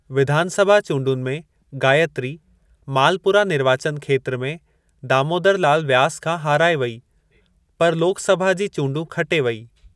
विधानसभा चूंडुनि में गायत्री, मालपुरा निर्वाचन खेत्र में दामोदर लाल व्यास खां हाराए वई, पर लोकसभा जी चूंडूं खटे वई।